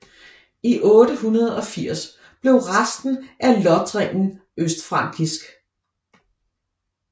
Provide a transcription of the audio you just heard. I 880 blev resten af Lothringen østfrankisk